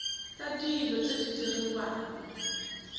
tsa dilo tse di diriwang